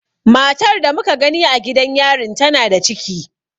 Matar da muka gani a gidan yarin tana da ciki.